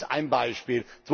Das ist ein Beispiel.